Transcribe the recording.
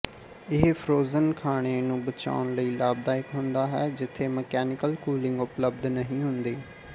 ਇਹ ਫ਼੍ਰੋਜ਼ਨ ਖਾਣੇ ਨੂੰ ਬਚਾਉਣ ਲਈ ਲਾਭਦਾਇਕ ਹੁੰਦਾ ਹੈ ਜਿੱਥੇ ਮਕੈਨੀਕਲ ਕੂਲਿੰਗ ਉਪਲਬਧ ਨਹੀਂ ਹੁੰਦੀ